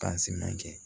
kɛ